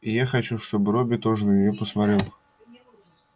и я хочу чтобы робби тоже на нее посмотрел